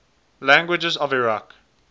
languages of iraq